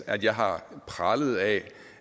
at jeg har pralet af